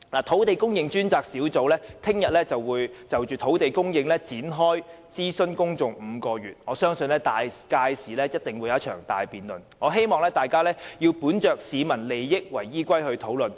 土地供應專責小組明天會就土地供應展開為期5個月的公眾諮詢，我相信屆時一定會進行大辯論，希望大家要本着以市民利益為依歸進行討論。